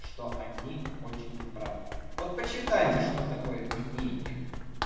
что они очень неправы вот почитайте что такое мнение